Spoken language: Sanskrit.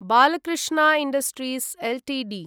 Balkrishna industries Ltd